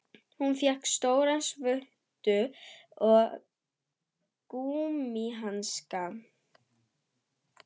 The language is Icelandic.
Hún fékk stóra svuntu og gúmmíhanska.